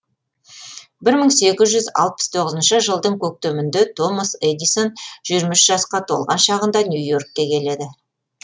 бір мың сегіз жүз алпыс тоғызыншы жылдың көктемінде томас эдисон жиырма үш жасқа толған шағында нью йоркке келеді